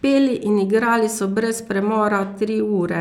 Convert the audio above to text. Peli in igrali so brez premora tri ure,